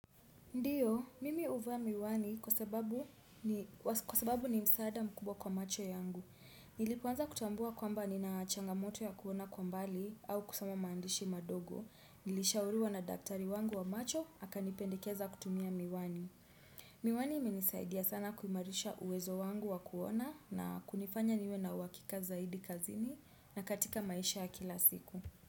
Ndiyo, mimi huvaa miwani kwa sababu ni msaada mkubwa kwa macho yangu. Nilipoanza kutambua kwamba ni na changamoto ya kuona kwa mbali au kusoma maandishi madogo. Nilishauriwa na daktari wangu wa macho, akanipendikeza kutumia miwani. Miwani imenisaidia sana kuimarisha uwezo wangu wa kuona na kunifanya niwe na uhakika zaidi kazini na katika maisha ya kila siku.